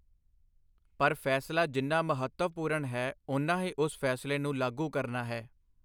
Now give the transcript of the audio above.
ਪਰ ਫੈਸਲਾ ਜਿੰਨਾ ਮਹੱਤਵਪੂਰਨ ਹੈ, ਉਨਾ ਹੀ ਉਸ ਫੈਸਲੇ ਨੂੰ ਲਾਗੂ ਕਰਨਾ ਹੈ।